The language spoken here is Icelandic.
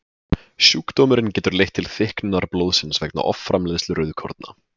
Sjúkdómurinn getur leitt til þykknunar blóðsins vegna offramleiðslu rauðkorna.